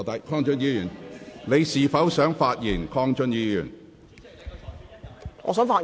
鄺俊宇議員，你是否想發言？